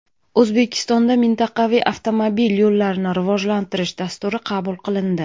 O‘zbekistonda Mintaqaviy avtomobil yo‘llarini rivojlantirish dasturi qabul qilindi.